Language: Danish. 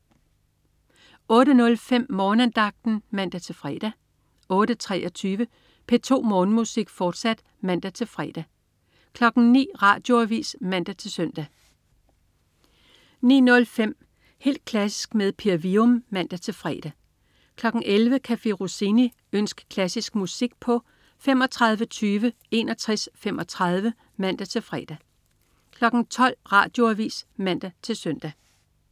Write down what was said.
08.05 Morgenandagten (man-fre) 08.23 P2 Morgenmusik, fortsat (man-fre) 09.00 Radioavis (man-søn) 09.05 Helt klassisk med Per Wium (man-fre) 11.00 Café Rossini. Ønsk klassisk musik på tlf. 35 20 61 35 (man-fre) 12.00 Radioavis (man-søn)